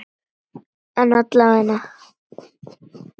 En alla vega.